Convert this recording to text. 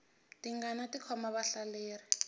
tingana ti khoma vahlaleri